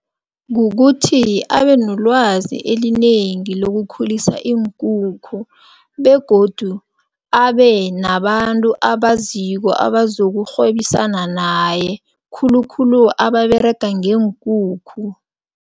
Kukuthi abenolwazi elinengi lokukhulisa iinkukhu begodu abenabantu abaziko abazokurhwebisana naye khulukhulu ababerega ngeenkukhu.